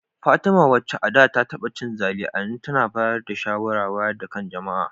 Fatima, wacce a da ta taba cin zali, a yanzu tana bayar da shawarar wayar da kan jama’a